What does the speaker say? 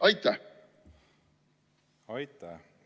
Aitäh!